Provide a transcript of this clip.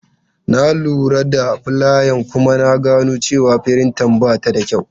Na lura da fulayan kuma na gano cewa firinta ba ta da kyau.